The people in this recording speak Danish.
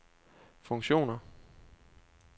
funktioner